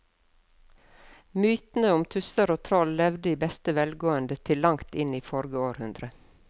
Mytene om tusser og troll levde i beste velgående til langt inn i forrige århundre.